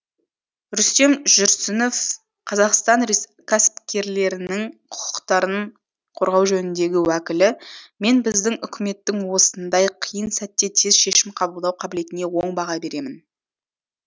рүстем жүрсінов қазақстан кәсіпкерлерінің құқықтарын қорғау жөніндегі уәкілі мен біздің үкіметтің осындай қиын сәтте тез шешім қабылдау қабілетіне оң баға беремін